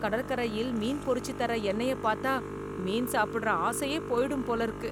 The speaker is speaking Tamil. கடற்கரையில் மீன் பொறிச்சு தர எண்ணெய பார்த்தா, மீன் சாப்பிடுற ஆசையே போயிடும் போல இருக்கு.